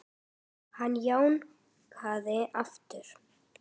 Hann jánkaði aftur.